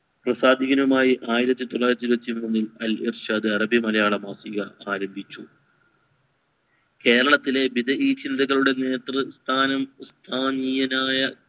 പ്രസാദീനുമായി ആയിരത്തി തൊള്ളായിരത്തി ഇരുവത്തി മൂന്നിൽ അല്ല ഇർഷാദ് അറബി മലയാള മാസിക ആരംഭിച്ചു കേരളത്തിലെ വിവിധ നേതൃത്വം സ്ഥനയീയനായ